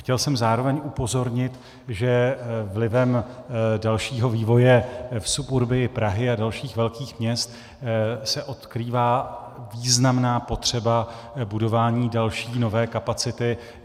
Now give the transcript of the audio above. Chtěl jsem zároveň upozornit, že vlivem dalšího vývoje v suburbiu Prahy a dalších velkých měst se odkrývá významná potřeba budování další, nové kapacity.